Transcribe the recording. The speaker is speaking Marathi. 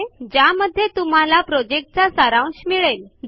httpspoken tutorialorgWhat is a Spoken Tutorial हा स्पोकन ट्युटोरियल प्रोजेक्ट चा सार होता